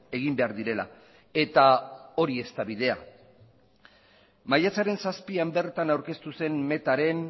egin behar direla eta hori ez da bidea maiatzaren zazpian bertan aurkeztu zen metaren